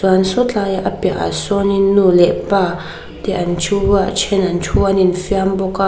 chuan sawi tlai a piahah sawnin nu leh pa te an thu a then an thu a an infiam bawk a.